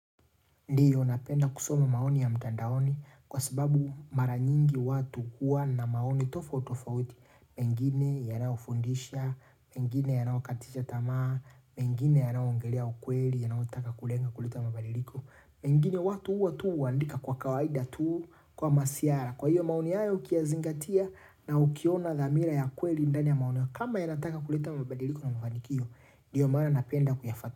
Ndiyo, napenda kusoma maoni ya mtandaoni kwa sababu mara nyingi watu huwa na maoni tofauti tofauti. Mengine yanayofundisha, mengine yanayokatisha tamaa, mengine yanayoongelea ukweli, yanayotaka kulenga kuleta mabadiliko. Mengine watu huwa tu waandika kwa kawaida tu kama maziara. Kwa hiyo, maoni hayo ukiyazingatia na ukiona dhamira ya ukweli ndani ya maoni. Kama yanataka kuleta mabadiliko na mafanikio, ndiyo maana napenda kuyafuatilia.